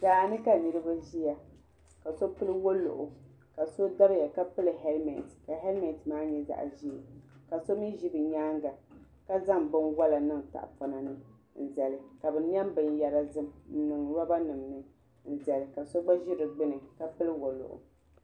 Daa ni ka niriba ziya ka so pili woluɣu ka so dabiya ka pili hɛlimɛnti ka hɛlimɛnti maa nyɛ zaɣi ʒee ka so mi zi bi yɛanga ka zaŋ bini wola niŋ tahipɔna ni n zali ka bi niɛm bini yara zim n niŋ rɔba nima ni n dɛli ka so gba zi di gbuni ka pili woluɣu.